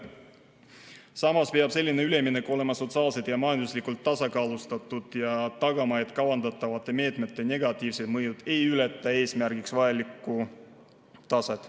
Samas peab selline üleminek olema sotsiaalselt ja majanduslikult tasakaalustatud ja tagama, et kavandatavate meetmete negatiivsed mõjud ei ületaks eesmärgiks vajalikku taset.